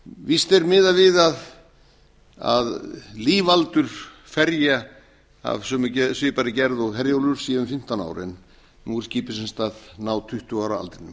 víst er miðað við að lífaldur ferja af svipaðri gerð og herjólfur sé um fimmtán ár en nú er skipið sem sagt að ná tuttugu ára aldrinum